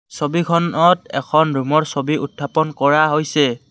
ছবিখনত এখন ৰূমৰ ছবি উত্থাপন কৰা হৈছে।